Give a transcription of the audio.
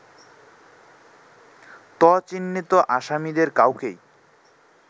ত চিহ্নিত আসামিদের কাউকেই